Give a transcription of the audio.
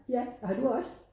Ja har du også?